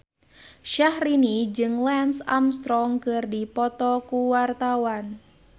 Syahrini jeung Lance Armstrong keur dipoto ku wartawan